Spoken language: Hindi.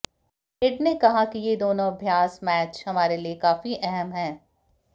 हेड ने कहा कि ये दोनों अभ्यास मैच हमारे लिए काफी अहम है